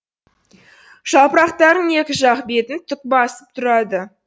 жапырақтарының екі жақ бетін түк басып тұрады